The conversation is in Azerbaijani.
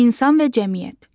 İnsan və cəmiyyət.